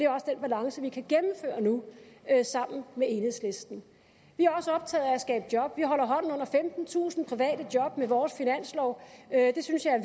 også den balance vi kan gennemføre nu sammen med enhedslisten vi er også optaget af at skabe job vi holder hånden under femtentusind private job med vores finanslov det synes jeg er